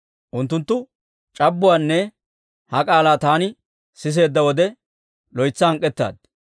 Unttunttu c'abbuwaanne ha k'aalaa taani siseedda wode, loytsa hank'k'ettaad.